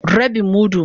Rabin mudu.